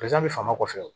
faamaw kɔfɛ